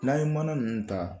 N'an ye mana ninnu ta